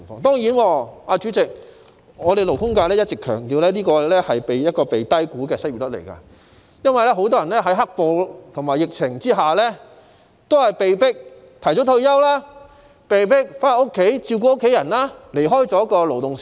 當然，代理主席，勞工界一直強調這是被低估的失業率，因為很多人在"黑暴"和疫情下，被迫提早退休，或被迫回家照顧家人，離開勞動市場。